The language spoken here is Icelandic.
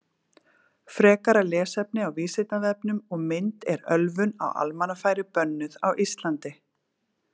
Frekara lesefni á Vísindavefnum og mynd Er ölvun á almannafæri bönnuð á Íslandi?